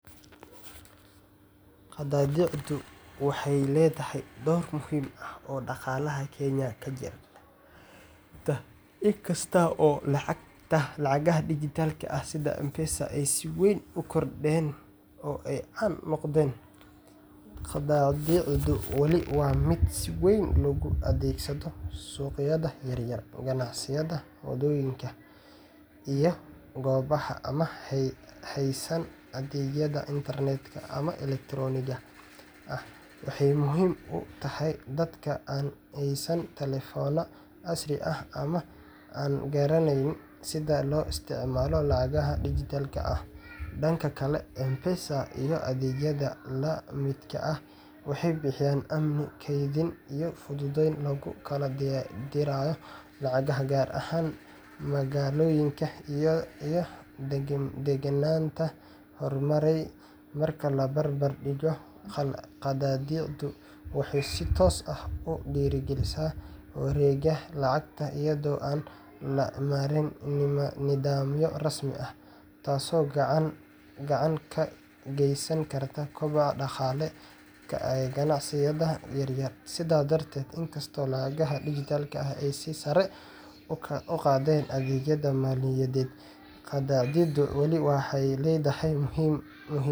Qadaadicdu waxay leedahay door muhiim ah oo dhaqaalaha Kenya kaga jirta, inkasta oo lacagaha dijitaalka ah sida M-Pesada ay si weyn u kordheen oo ay caan noqdeen. Qadaadicdu weli waa mid si weyn loogu adeegsado suuqyada yaryar, ganacsiyada waddooyinka, iyo goobaha aan haysan adeegyada internet-ka ama elektaroonigga ah. Waxay muhiim u tahay dadka aan haysan taleefanno casri ah ama aan garaneyn sida loo isticmaalo lacagaha dijitaalka ah. Dhanka kale, M-Pesada iyo adeegyada la midka ah waxay bixiyaan amni, kaydin, iyo fudayd lagu kala dirayo lacagaha, gaar ahaan magaalooyinka iyo deegaannada horumaray. Marka la barbar dhigo, qadaadicdu waxay si toos ah u dhiirrigelisaa wareegga lacagta iyadoo aan la marin nidaamyo rasmi ah, taasoo gacan ka geysan karta kobaca dhaqaale ee ganacsiyada yaryar. Sidaas darteed, inkastoo lacagaha dijitaalka ahi ay sare u qaadeen adeegyada maaliyadeed, qadaadicdu weli waxay leedahay muhiimad weyn,